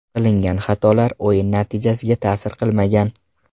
Qilingan xatolar o‘yin natijasiga ta’sir qilmagan”.